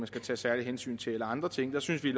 skal tage særlige hensyn til eller andre ting der synes vi